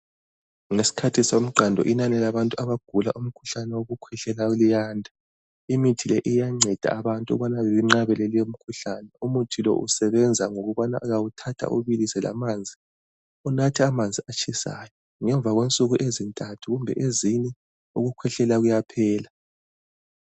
Ngesikhathi somqando inani labantu abagula umkhuhlane wokukhwehlela luyanda. Imithi le iyanceda abantu ukubana benqabeleke lemkhuhlane. Umuthi lo usebenza ngokubana uyawuthatha uwubilise lamanzi. Unathe amanzi atshisayo. Ngemva kwensuku ezintathu kumbe ezine ukukhwehlela kuyaphela.